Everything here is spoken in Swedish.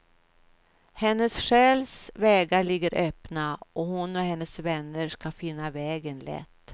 Hennes själs vägar ligger öppna, och hon och hennes vänner ska finna vägen lätt.